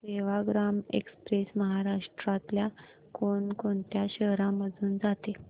Sevagram express महाराष्ट्रातल्या कोण कोणत्या शहरांमधून जाते